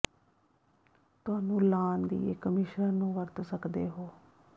ਤੁਹਾਨੂੰ ਲਾਅਨ ਦੀ ਇੱਕ ਮਿਸ਼ਰਣ ਨੂੰ ਵਰਤ ਸਕਦੇ ਹੋ